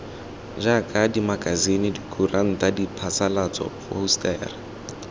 jaaka dimakasine dikuranta diphasalatso phousetara